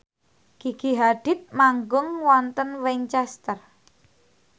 Gigi Hadid manggung wonten Winchester